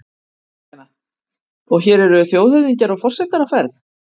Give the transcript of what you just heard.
Kristjana: Og hér eru þjóðhöfðingjar og forsetar á ferð?